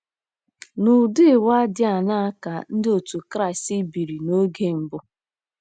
N’ụdị ụwa dị aṅaa ka Ndị Otú Kristi biri n'oge mbụ?